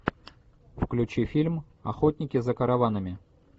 включи фильм охотники за караванами